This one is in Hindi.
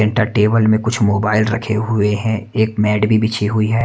टेबल में कुछ मोबाइल रखे हुए हैं एक मैट भी बिछी हुई है।